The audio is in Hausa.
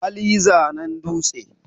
hali zanen dutse